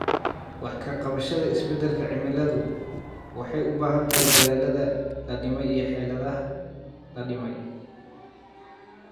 Wax ka qabashada isbeddelka cimiladu waxay u baahan tahay dadaallada la dhimay iyo xeeladaha la dhimay.